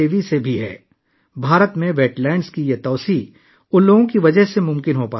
بھارت میں آبی ذخائر کی توسیع رامسر سائٹس کے آس پاس رہنے والے لوگوں کی وجہ سے ممکن ہے